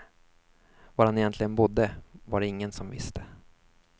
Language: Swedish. Var han egentligen bodde var det ingen som visste.